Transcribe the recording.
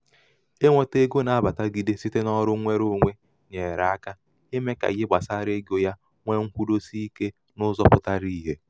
inwētā ego na-abàtagide site n’ọrụ ṅwereōnwē nyèrè aka ime ka ihe gbasara ego ya nwee ṅkwudosi ikē n’ụzọ̄ pụtara ìhè.